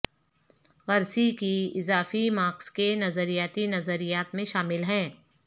Gramsci کی اضافی Marx کے نظریاتی نظریات میں شامل ہیں